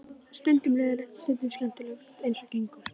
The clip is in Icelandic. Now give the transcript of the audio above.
Stundum leiðinlegt, stundum skemmtilegt eins og gengur.